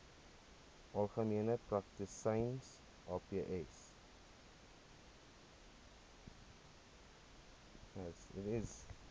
algemene praktisyns aps